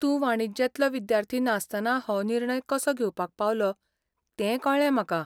तूं वाणिज्यांतलो विद्यार्थी नासतनाय हो निर्णय कसो घेवपाक पावलो तें कळ्ळें म्हाका.